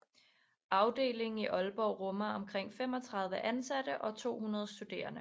Afdelingen i Aalborg rummer omkring 35 ansatte og 200 studerende